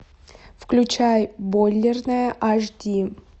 включай бойлерная аш ди